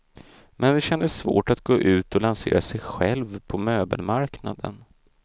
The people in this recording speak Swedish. Men det kändes svårt att gå ut och lansera sig själv på möbelmarknaden.